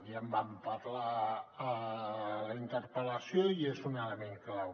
ja en vam parlar a la interpel·lació i és un element clau